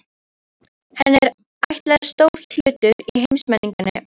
Henni er ætlaður stór hlutur í heimsmenningunni og